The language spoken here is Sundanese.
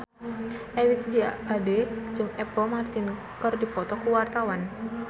Ebith G. Ade jeung Apple Martin keur dipoto ku wartawan